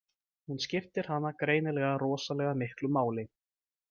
Hún skiptir hana greinilega rosalega miklu máli.